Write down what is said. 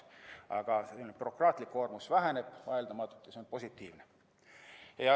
Aga bürokraatlik koormus väheneb vaieldamatult ja see on positiivne.